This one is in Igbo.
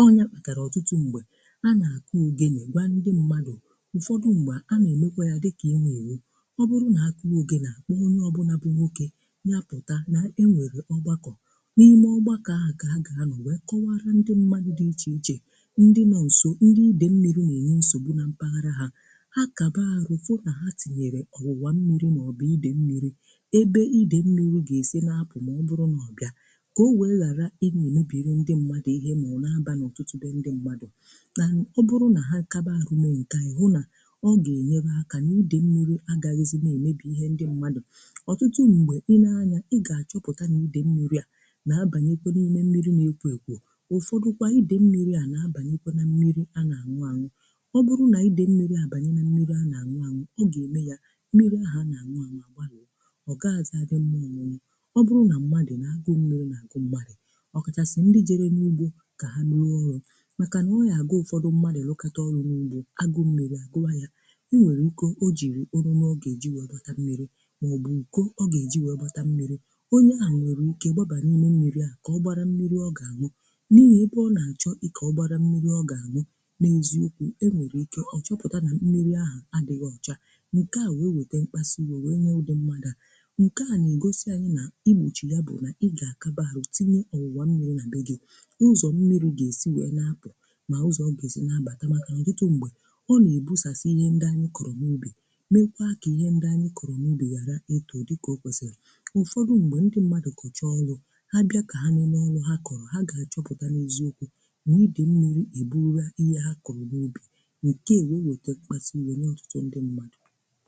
Ọ nyà pùtàrà ọ̀tụtụ m̀gbè a nà-àkụ ògènè gwa ndị mmádụ̀ ụ̀fọdụ m̀gbè a nà-èmekwa yá dị̀ kà éwú èwú. Ọ̀ bụrụ nà ákụ̀ọ ògènè, àkpọ́ọ onye ọ̀bụ́nà bụ ńwòké, nyá pụ̀tà nà e nwèrè ọ̀gbàkọ̀. N’ime ọ̀gbàkọ̀ ahụ́ kà a gà-ànọ̀ wèe kọ́wàrà ndị mmádụ̀ dị̀ ichè-ichè ndị nọ̀ nsò ndị idè mmírì nà-ènye nsògbù nà mpàghàrà ha, ha kàbàrù fụ́ nà ha tìnyèrè kụ̀rùwá mmírì mà ọ̀ bụ̀ idè mmírì, èbé idè mmírì gà-èsì n’àpụ̀ mà ọ̀ bịà, kà ọ wèe ghàrà ị́dị́ nà émebịrị mmírì ndị mmádụ̀ ihe mà ọ̀ bụ̀ n’àbà n’ọ̀tụ̀tụ̀ be ndị mmádụ̀. Nà ọ̀ bụrụ nà ha kàbàrù mee ńkéa, ịhụ̀ nà ọ ga-enyere ákà n’idè mmírì agàghị̀zị èmebị ihe ndị mmádụ̀. Ọ̀tụ̀tụ̀ m̀gbè ị lee anya, ị gà-àchọpụ̀ta nà idè mmírì a nà-àbànyekwụ n’ime mmírì n’ékwo ékwo, ụfọdụ̀ kwa idè mmírì a nà-àbànyè nà mmírì a nà-àṅụ̀ àṅụ̀. Ọ̀ bụrụ nà idè mmírì a bànyè nà mmírì a nà-àṅụ̀ àṅụ̀, ọ gà-ème yá mmírì ahụ̀ a nà-àṅụ̀ àṅụ̀ a gbàrụ̀ọ̀, ọ gàghị̀zị àdị ńmmà ọ̀ṅụṅụ̀. Ọ̀ bụrụ nà mmádụ̀ ná-àgụ́ mmírì ná-àgụ́ mmádụ̀, ọ̀kàchàsị̀ ndị jere n’úgbò kà ha rụọ ọ̀rụ̀. Màkà nà ọ nà-àbụ ụ̀fọdụ̀ mmádụ̀ rụ̀kàtà ọ̀rụ̀ n’úgbò, ágụ́ụ̀ mmírì àgụ́wá yá. O nwèrè ìké o jịrị ọ̀nụ̀ ọ ga-eji wèe gbàtà mmírì mà ọ̀ bụ̀ íkò ọ ga-eji wèe gbàtà mmírì. Onye à nwèrè ìké gbàbà nà ímé mmírì a kà ọ gbàrà mmírì ọ gà-àṅụ̀, n’ihi èbé ọ nà-àchọ̀ ị́ké ọ gbàrà mmírì ọ gà-anụ̀. N’éziòkwú, e nwèrè ìké ọ chọ́pụ̀tà nà mmírì ahụ́ àdìghị́ òchá. Ńkè à wèe wete m̀kpàsị́-íwè wèe nyàà ụ́dọ́ mmádụ̀ à. Ńkè à nà-ègosị anyị́ nà ị gbòchì ya bụ̀ nà ị gà-àkàbàrụ̀ tìnyè ọ̀wụ̀wà mmírì nà be gị, ụ̀zọ̀ mmírì gà-èsì wèe nà-àpụ̀, mà ụzọ̀ ọ gà-èsì na-àbàta. Màkà nà ọ̀tụtụ m̀gbè ọ nà-èbusasị ihe ndị anyị́ kọ̀rọ̀ n’ubì, mèékwá kà ihe ndị anyị́ kọ̀rọ̀ n’ubì ghàrà ị́tò dị̀ kà ọ kwèsịrì. Ụfọdụ m̀gbè ndị mmádụ̀ kọ̀chàà ọ̀lụ̀ ha bịa kà ha lèlé ọ̀lụ̀ ha kọ̀rọ̀, ha gà-àchọpụ̀ta n’éziòkwú n'ídè mmírì è bùrùwó ihe ha kọ̀rọ̀ n’úbì, ńkè à wèe wete m̀kpàsù-íwè nye ọ̀tụtụ ndị mmádụ̀.